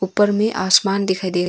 ऊपर मे आसमान दिखाई दे--